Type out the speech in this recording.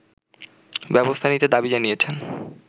ব্যবস্থা নিতে দাবি জানিয়েছেন